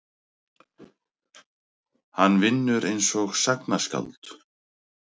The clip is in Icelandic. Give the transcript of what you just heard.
Hann vinnur einsog sagnaskáld.